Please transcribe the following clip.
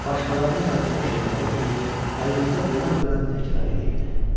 Başqalarının yazdığı şeirləri oxuyur, qəlbində dönəm-dönəm təkrar eləyirdi.